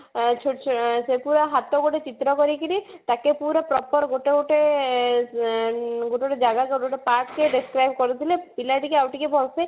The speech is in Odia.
ହଁ ଛୋଟଛୋଟ ପୁରା ହାତ ଗୋଡ ଚିତ୍ର କରିକିରି ତାକୁ ପୁରା proper ଗୋଟେ ଗୋଟେ ଆଁ ଗୋଟେ ଗୋଟେ ଜାଗା ଗୋଟେ ଗୋଟେ part କି describe କରୁଥିଲେ ପିଲା ଟିକେ ଆଉ ଟିକେ ଭଲସେ